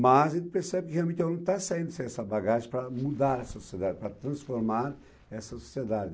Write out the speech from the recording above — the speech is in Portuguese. Mas ele percebe que realmente o aluno está saindo sem essa bagagem para mudar a sociedade, para transformar essa sociedade.